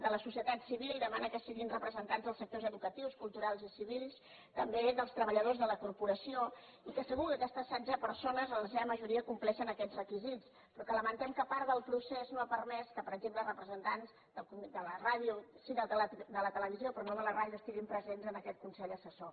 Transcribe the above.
de la societat civil demana que siguin representants dels sectors educatius culturals i civils també dels treballadors de la corporació i segur que aquestes setze persones en la seva majoria compleixen aquests requisits però lamentem que part del procés no ha permès que per exemple representants de la ràdio sí de la televisió però no de la ràdio estiguin presents en aquest consell assessor